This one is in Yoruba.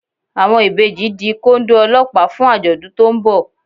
Àwọn ìbejì di Kóndó Ọlọ́pàá fún àjọ̀dún tó ń bọ̀